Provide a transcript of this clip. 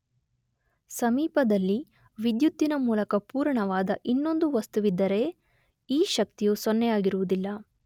ಸಮೀಪದಲ್ಲಿ ವಿದ್ಯುತ್ತಿನ ಮೂಲಕ ಪೂರಣವಾದ ಇನ್ನೊಂದು ವಸ್ತುವಿದ್ದರೇ ಈ ಶಕ್ತಿಯು ಸೊನ್ನೆಯಾಗಿರುವುದಿಲ್ಲ.